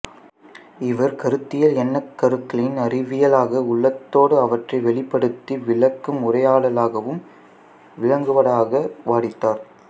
இவர் கருத்தியல் எண்ணக்கருக்களின் அறிவியலாக உள்ளதோடு அவற்றை வெளிப்படுத்தி விளக்கும் உரையாடலாகவும் விளங்குவதாக வாதிட்டார்